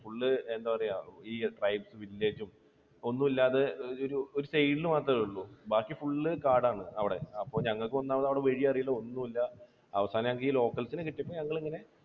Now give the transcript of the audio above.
full എന്താ പറയുക ഈ tribal village ഉം, ഒന്നുമില്ലാതെ ഒരു side ൽ മാത്രമേയുള്ളൂ. ബാക്കി full കാടാണ്. അവിടെ ഞങ്ങൾക്ക് അപ്പോൾ ഒന്നാമത് അവിടെ വഴിയറിയില്ല ഒന്നുമറിയില്ല. അവസാനം ഞങ്ങൾക്ക് ഈ locals നെ കിട്ടിയപ്പോൾ ഞങ്ങൾ ഇങ്ങനെ